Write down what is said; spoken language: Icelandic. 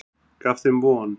Gaf þeim von.